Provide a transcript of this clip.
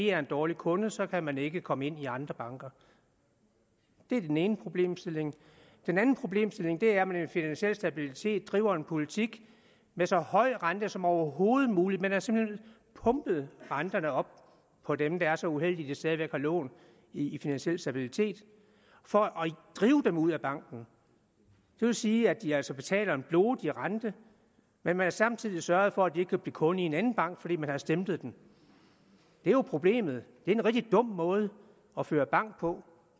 er en dårlig kunde så kan man ikke komme ind i andre banker det er den ene problemstilling den anden problemstilling er at man i finansiel stabilitet driver en politik med så høj rente som overhovedet muligt man har simpelt hen pumpet renterne op for dem der er så uheldige at de stadig væk har lån i finansiel stabilitet for at drive dem ud af banken det vil sige at de altså betaler en blodig rente men man har samtidig sørget for at de ikke kan blive kunde i en anden bank fordi man har stemplet dem det er jo problemet det er en rigtig dum måde at føre bank på